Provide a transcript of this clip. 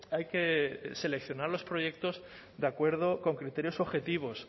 hay que seleccionar los proyectos de acuerdo con criterios objetivos